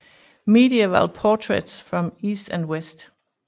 Medieval Portraits from East and West